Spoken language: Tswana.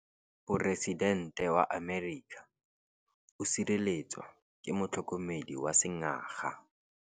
Poresitêntê wa Amerika o sireletswa ke motlhokomedi wa sengaga.